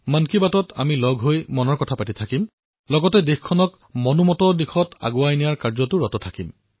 মন কী বাতত লগ পাই থাকিম মনৰ কথা কম আৰু মনৰ জৰিয়তে দেশক আগবঢ়াই লৈ যোৱাৰ কাৰ্যতো ব্ৰতী হম